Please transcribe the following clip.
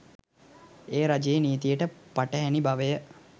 එය රජයේ නීතියට පටහැනි බවය